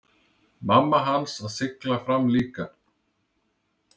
Mamma hans að sigla fram líka.